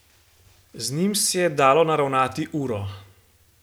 Z njim se je dalo naravnati uro.